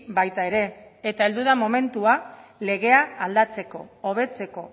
baita ere eta heldu da momentua legea aldatzeko hobetzeko